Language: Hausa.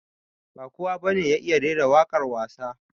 Ba kowa ba ne ya iya rera waƙwar wasa